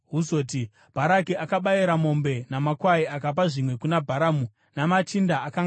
Bharaki akabayira mombe namakwai, akapa zvimwe kuna Bharamu namachinda akanga anaye.